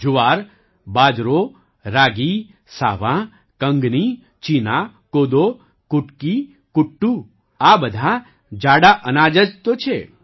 જુવાર બાજરો રાગી સાવાં કંગની ચીના કોદો કુટકી કુટ્ટુ આ બધાં જાડાં અનાજ જ તો છે